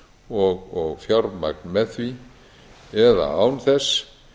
og fjármagn með því eða án þess